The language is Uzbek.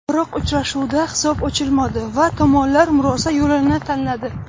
Biroq uchrashuvda hisob ochilmadi va tomonlar murosa yo‘lini tanladi.